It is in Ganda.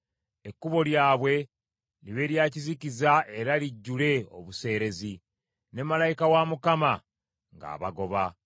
Ekkubo lyabwe libe lya kizikiza era lijjule obuseerezi, ne malayika wa Mukama ng’abagoba.